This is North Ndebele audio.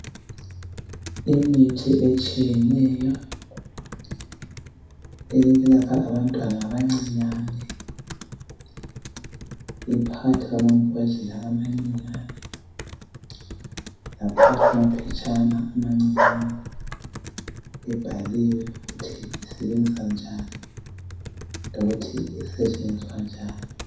Imithi etshiyeneyo eyokwelapha abantwana abancinyane iphakathi kwamambodlela amancinyane laphakathi kwamaphetshana amancinyane ibhaliwe ukuthi isebenza njani lokuthi isetshenziswa njani.